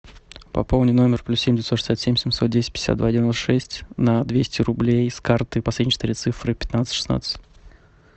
пополни номер плюс семь девятьсот шестьдесят семь семьсот десять пятьдесят два девяносто шесть на двести рублей с карты последние четыре цифры пятнадцать шестнадцать